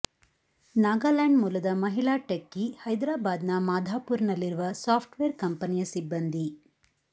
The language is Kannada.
ನಾಗಾಲ್ಯಾಂಡ್ ಮೂಲದ ಮಹಿಳಾ ಟೆಕ್ಕಿ ಹೈದರಾಬಾದ್ನ ಮಾಧಾಪುರ್ನಲ್ಲಿರುವ ಸಾಫ್ಟ್ವೇರ್ ಕಂಪನಿಯ ಸಿಬ್ಬಂದಿ